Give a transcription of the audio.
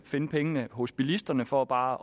finde pengene hos bilisterne for bare